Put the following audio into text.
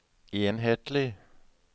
enhetlig